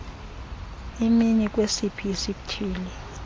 imi kwesiphi isithili